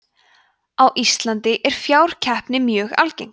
á íslandi er fákeppni mjög algeng